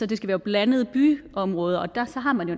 det skal være blandede byområder og så har man jo